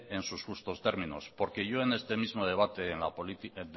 en sus justos términos porque yo en este mismo debate